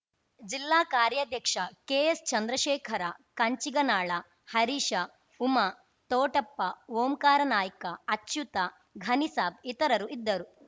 ಜಿಲ್ಲಾ ಕಾರ್ಯಾಧ್ಯಕ್ಷ ಕೆಎಸ್‌ಚಂದ್ರಶೇಖರ ಕಂಚಿಗನಾಳ ಹರೀಶ ಉಮಾ ತೋಟಪ್ಪ ಓಂಕಾರನಾಯ್ಕ ಅಚ್ಯುತ ಘನಿಸಾಬ್‌ ಇತರರು ಇದ್ದರು